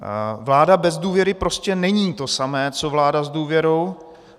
Vláda bez důvěry prostě není to samé co vláda s důvěrou.